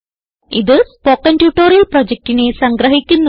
ഇതു spoken tutorial പ്രൊജക്റ്റിനെ സംഗ്രഹിക്കുന്നു